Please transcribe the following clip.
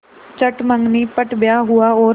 चट मँगनी पट ब्याह हुआ और